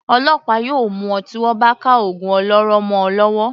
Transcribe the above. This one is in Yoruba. Ọlọ́pàá yóò mú ọ tí wọ́n bá ka ògùn olóró mọ ọ lọ́wọ́.